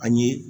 An ye